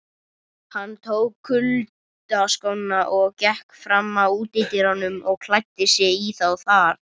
Hann tók kuyldaskóna og gekk fram að útidyrunum og klæddi sig í þá þar.